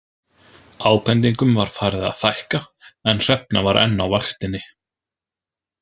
Ábendingum var farið að fækka en Hrefna var enn á vaktinni.